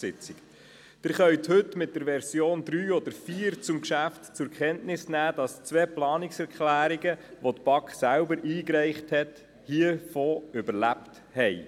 Sie können heute der Version 3 oder 4 zum Geschäft entnehmen, dass davon zwei Planungserklärungen, die von der BaK selber eingereicht worden sind, überlebt haben.